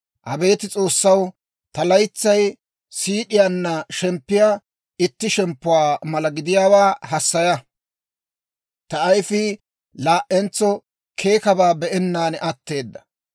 «Abeet S'oossaw, ta laytsay siid'iyaanna shemppiyaa itti shemppuwaa mala gidiyaawaa hassaya! Ta ayifii laa"entso keekkabaa be'ennaan atteedda.